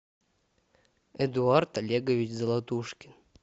эдуард олегович золотушкин